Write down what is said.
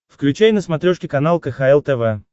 включай на смотрешке канал кхл тв